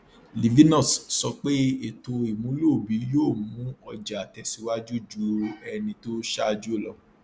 livinus sọ pé ètò ìmúlò obi yóò mu ọjà tẹsíwájú ju ẹni tó ṣáájú lọ